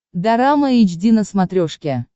дорама эйч ди на смотрешке